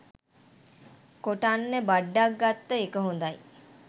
කොටන් බඩ්ඩක් ගත්ත එක හොඳයි.